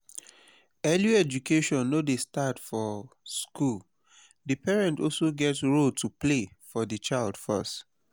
early education no dey start for school di parents also get role to play for di child first